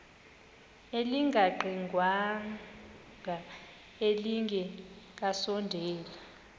elingaqingqwanga nelinge kasondeli